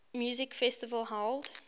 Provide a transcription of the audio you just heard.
music festival held